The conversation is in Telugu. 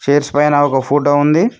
చైర్స్ పైన ఒక ఫోటో ఉంది